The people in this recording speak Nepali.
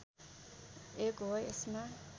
एक हो यसमा